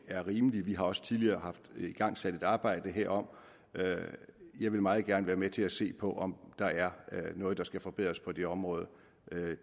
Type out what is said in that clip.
er rimelig vi har også tidligere haft igangsat et arbejde herom jeg vil meget gerne være med til at se på om der er noget der skal forbedres på det område